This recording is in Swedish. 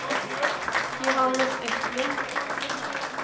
Johannes Östlund